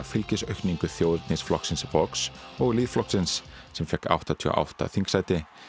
fylgisaukningu þjóðernisflokksins Vox og Lýðflokksins sem fékk áttatíu og átta þingsæti